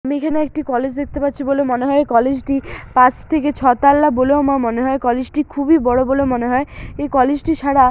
আমি এখানে একটি কলেজ দেখতে পাচ্ছি বলে মনে হয়। কলেজ টির পাঁচ থেকে ছ তালা বলেও মনে হয় কলেজ টি খুবই বড়ো বলে মনে হয়। এই কলেজ টি ছাড়া--